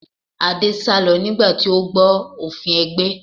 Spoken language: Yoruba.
Adé sálọ nígbà tí ó gbọ́ nípa òfin ẹgbẹ́